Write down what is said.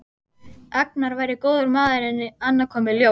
Agnar væri góður maður en annað kom í ljós.